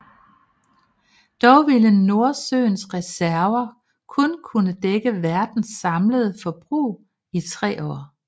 Dog ville Nordsøens reserver kun kunne dække verdens samlede forbrug i tre år